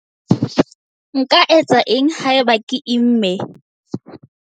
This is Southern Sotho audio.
Nka etsa eng haeba ke imme?